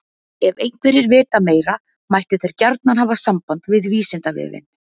Ef einhverjir vita meira mættu þeir gjarnan hafa samband við Vísindavefinn.